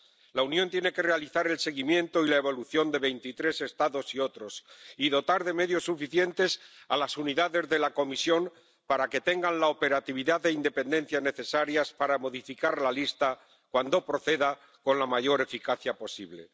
La Unión tiene que realizar el seguimiento y la evolución de veintitrés Estados y otros y dotar de medios suficientes a las unidades de la Comisión para que tengan la operatividad e independencia necesarias para modificar la lista, cuando proceda, con la mayor eficacia posible.